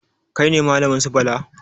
Kai ne malamin su Bala?